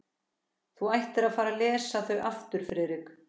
Þú ættir að fara að lesa þau aftur sagði Friðrik.